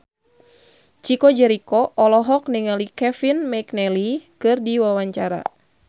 Chico Jericho olohok ningali Kevin McNally keur diwawancara